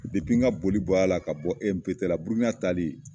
n ka boli bɔla la ka bɔ E M P T la Burukina tali